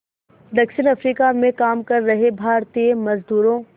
दक्षिण अफ्रीका में काम कर रहे भारतीय मज़दूरों